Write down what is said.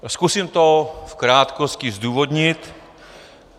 Zkusím to v krátkosti zdůvodnit.